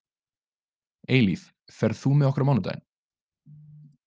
Eilíf, ferð þú með okkur á mánudaginn?